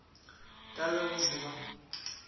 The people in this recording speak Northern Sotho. ka le go se ba